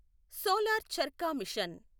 solar charkha machine